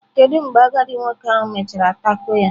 Kedu mgbe agadi nwoke ahụ mechara taco ya?